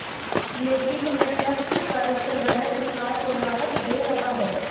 लेकिन प्रत्यक्ष कर संग्रह सरकार को राहत दे रहा है